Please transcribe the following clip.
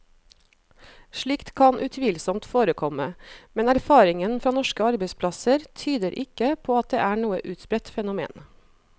Slikt kan utvilsomt forekomme, men erfaringen fra norske arbeidsplasser tyder ikke på at det er noe utbredt fenomen.